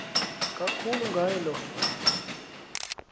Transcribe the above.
kakhulu ngaye lo